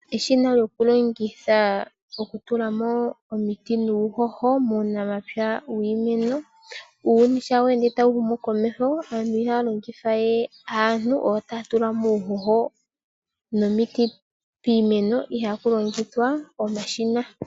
Eshina lyokulongitha okutula mo omiti nuuhoho muunamapya wiimeno. Uuyuni shi tawu ende tawu humu komeho aantu ihaya longitha we aantu oyo taya tula uuhoho nomiti piimeno, ihe ohaya longitha omashina.